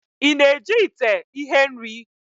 Ị na-eji ite ihe-nri?